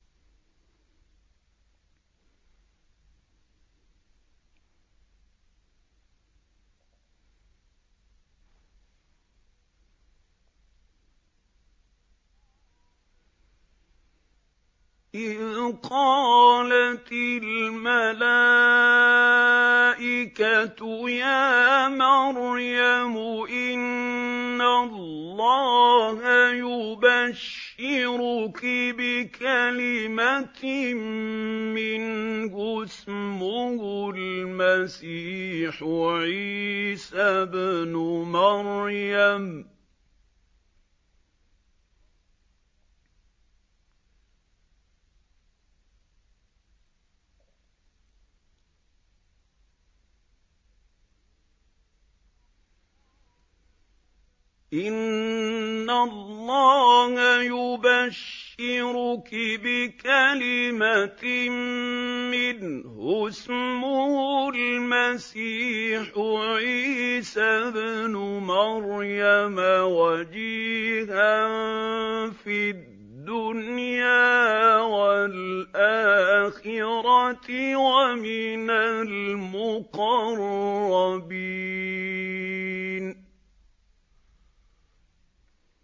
إِذْ قَالَتِ الْمَلَائِكَةُ يَا مَرْيَمُ إِنَّ اللَّهَ يُبَشِّرُكِ بِكَلِمَةٍ مِّنْهُ اسْمُهُ الْمَسِيحُ عِيسَى ابْنُ مَرْيَمَ وَجِيهًا فِي الدُّنْيَا وَالْآخِرَةِ وَمِنَ الْمُقَرَّبِينَ